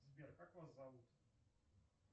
сбер как вас зовут